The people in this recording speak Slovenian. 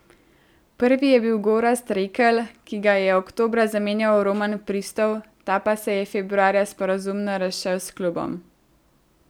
Prvi je bil Gorazd Rekelj, ki ga je oktobra zamenjal Roman Pristov, ta pa se je februarja sporazumno razšel s klubom.